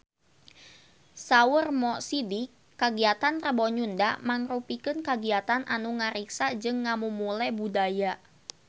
Saur Mo Sidik kagiatan Rebo Nyunda mangrupikeun kagiatan anu ngariksa jeung ngamumule budaya Sunda